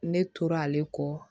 Ne tora ale kɔ